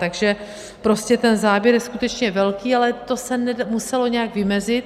Takže prostě ten záběr je skutečně velký, ale to se muselo nějak vymezit.